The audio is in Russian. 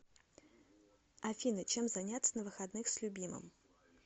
афина чем заняться на выходных с любимым